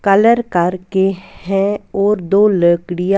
colour कर के हैं और दो लकड़ियाँ --